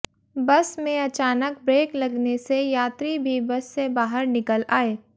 बस में अचानक ब्रेक लगने से यात्री भी बस से बाहर निकल आए